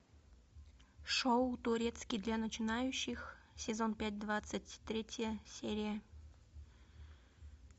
шоу турецкий для начинающих сезон пять двадцать третья серия